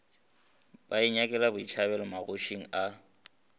ba inyakela botšhabelo magošing a